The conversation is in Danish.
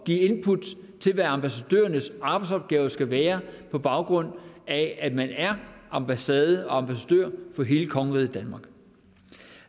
give input til hvad ambassadørernes arbejdsopgaver skal være på baggrund af at man er ambassade og ambassadør for hele kongeriget danmark